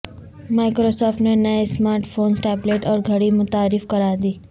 Microsoft نے نئے smart phones tablet اور گھڑی متعارف کرادی